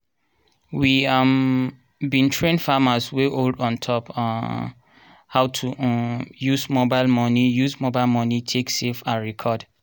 we um bin train farmers wey old on top um how to um use mobile money use mobile money take save and record.